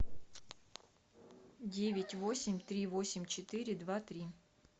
девять восемь три восемь четыре два три